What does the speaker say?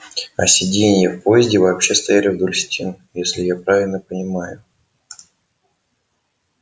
а сиденья в поезде вообще стояли вдоль стен если я правильно понимаю